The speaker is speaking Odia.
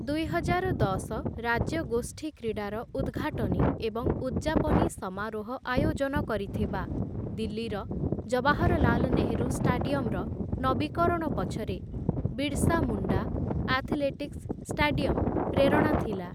ଦୁଇହଜାର ଦଶ ରାଜ୍ୟଗୋଷ୍ଠୀ କ୍ରୀଡ଼ାର ଉଦ୍‌ଘାଟନୀ ଏବଂ ଉଦ୍‌ଯାପନୀ ସମାରୋହ ଆୟୋଜନ କରିଥିବା ଦିଲ୍ଲୀର ଜବାହରଲାଲ ନେହେରୁ ଷ୍ଟାଡିୟମ୍‌ର ନବୀକରଣ ପଛରେ ବିର୍ସା ମୁଣ୍ଡା ଆଥଲେଟିକ୍ସ ଷ୍ଟାଡିୟମ୍‌ ପ୍ରେରଣା ଥିଲା ।